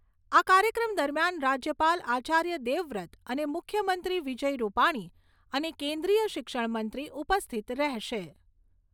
આ કાર્યક્રમ દરમિયાન રાજ્યપાલ આચાર્ય દેવવ્રત અને મુખ્યમંત્રી વિજય રૂપાણી અને કેન્દ્રીય શિક્ષણ મંત્રી ઉપસ્થિત રહેશે.